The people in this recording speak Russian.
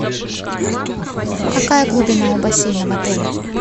какая глубина у бассейна в отеле